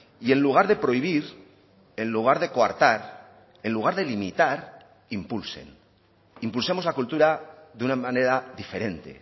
y en lugar de prohibir en lugar de coartar en lugar de limitar impulsen impulsemos la cultura de una manera diferente